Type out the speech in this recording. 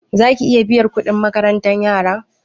Ke zaki riƙa biyan kuɗin makarantar yara?